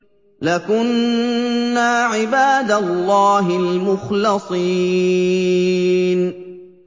لَكُنَّا عِبَادَ اللَّهِ الْمُخْلَصِينَ